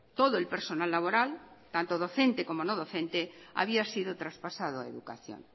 todo el personal laboral tanto docente como no docente había sido traspasado a educación